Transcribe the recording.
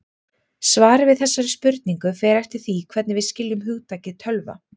Svarið við þessari spurningu fer eftir því hvernig við skiljum hugtakið tölva.